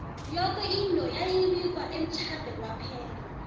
yoke into yayi bikwa emtjhade kwaphela